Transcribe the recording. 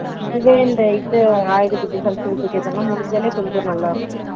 இப்பவே இந்த இது ஆயுத பூஜா சரஸ்வதி பூஜா முடிஞ்சா கொஞ்சம் நல்ல இருக்கும்